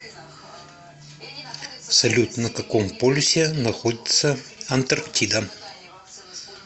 салют на каком полюсе находится антарктида